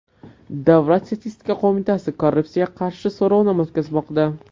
Davlat statistika qo‘mitasi korrupsiyaga qarshi so‘rovnoma o‘tkazmoqda .